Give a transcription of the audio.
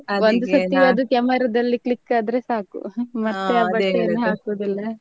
ಅದು camera ದಲ್ಲಿ click ಆದ್ರೆ ಸಾಕು ಹಾಕುದಿಲ್ಲ.